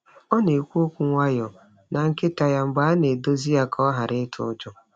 Ọ na-ekwu okwu nwayọọ na nkịta ya mgbe a na-edozi ya ka ọ ghara ịtụ ụjọ.